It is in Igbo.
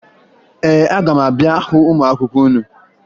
Ee, aga m abịa hụ ụmụ akwụkwọ unu